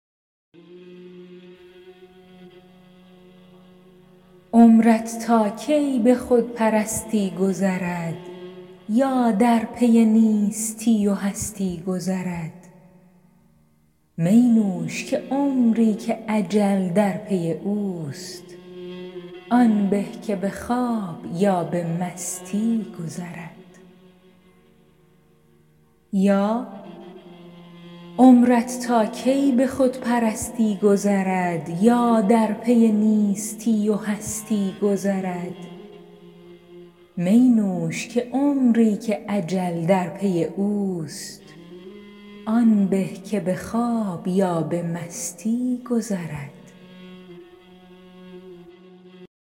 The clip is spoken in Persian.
عمرت تا کی به خودپرستی گذرد یا در پی نیستی و هستی گذرد می نوش که عمری که اجل در پی اوست آن به که به خواب یا به مستی گذرد